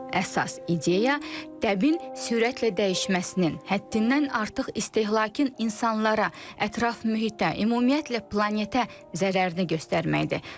Əsas ideya təbin sürətlə dəyişməsinin, həddindən artıq istehlakın insanlara, ətraf mühitə, ümumiyyətlə planetə zərərini göstərməkdir.